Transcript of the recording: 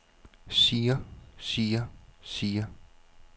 siger siger siger